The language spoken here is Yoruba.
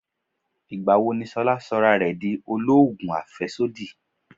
Ìgbà wo ni Ṣolá sọra rẹ di oloogun afesodi?